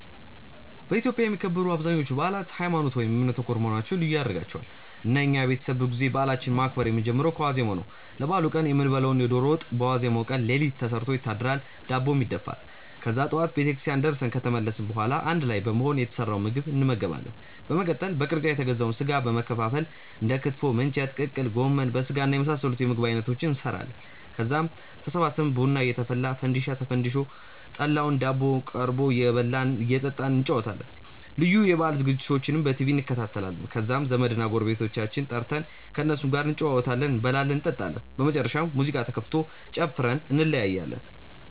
በኢትዮጵያ የሚከበሩ አብዛኞቹ በአላት ሀይማኖት ( እምነት) ተኮር መሆናቸው ልዩ ያደርጋቸዋል። እና የኛ ቤተሰብ ብዙ ጊዜ በአላችንን ማክበር የምንጀምረው ከዋዜማው ነው። ለበአሉ ቀን የምንበላውን የዶሮ ወጥ በዋዜማው ቀን ሌሊት ተሰርቶ ይታደራል፤ ዳቦም ይደፋል። ከዛ ጠዋት ቤተክርስቲያን ደርሰን ከተመለስን በኋላ አንድ ላይ በመሆን የተሰራውን ምግብ እንመገባለን። በመቀጠል በቅርጫ የተገዛውን ስጋ በመከፋፈል እንደ ክትፎ፣ ምንቸት፣ ቅቅል፣ ጎመን በስጋና የመሳሰሉት የምግብ አይነቶችን እንሰራለን። ከዛም ተሰብስበን ቡና እየተፈላ፣ ፈንዲሻ ተፈንድሶ፣ ጠላውና ዳቦው ቀርቦ እየበላን እና እየጠጣን እንጨዋወታለን። ልዩ የበአል ዝግጅቶችንም በቲቪ እንከታተላለን። ከዛም ዘመድና ጎረቤቶቻችንን ጠርተን ከእነሱም ጋር እንጨዋወታለን፤ እንበላለን እንጠጣለን። በመጨረሻም ሙዚቃ ተከፍቶ ጨፍረን እንለያያለን።